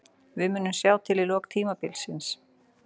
Við munum sjá til í lok tímabilsins.